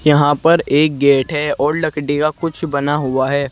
यहां पर एक गेट है और लकड़ी का कुछ बना हुआ है।